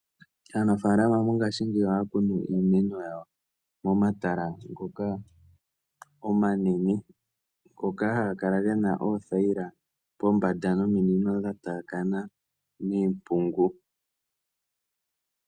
Aanafalama mongashingeyi ohaya kunu iimeno yawo momatala ngoka omanene, ngoka haga kala ge na oothayila pombanda nominino dha taakana miimpungu.